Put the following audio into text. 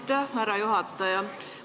Aitäh, härra juhataja!